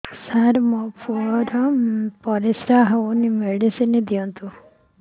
ସାର ମୋର ପୁଅର ପରିସ୍ରା ଯାଉନି ମେଡିସିନ ଦିଅନ୍ତୁ